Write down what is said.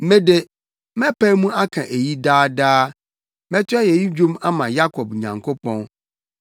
Me de, mɛpae mu aka eyi daa daa; mɛto ayeyi dwom ama Yakob Nyankopɔn.